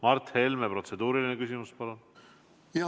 Mart Helme, protseduuriline küsimus, palun!